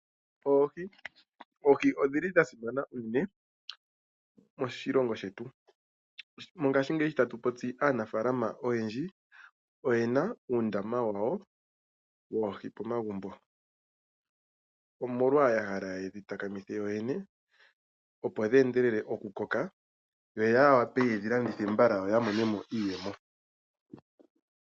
Oohi, Oohi odhili dha simana unene moshilongo shetu. Mongaashingeyi sho tatu popi aanafalama oyendji oye na uundama wawo woohi pomagumbo, omolwa yahala yedhi takamithe yoyene opo dhe endelele okukoka yo ya wape yedhi landithe mbala yo ya mone mo iiyemo.